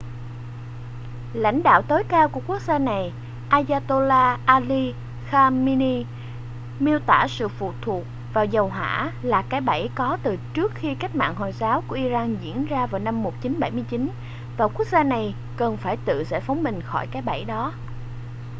lãnh đạo tối cao của quốc gia này ayatollah ali khamenei miêu tả sự phụ thuộc vào dầu hỏa là cái bẫy có từ trước khi cách mạng hồi giáo của iran diễn ra vào năm 1979 và quốc gia này cần phải tự giải phóng mình khỏi cái bẫy đó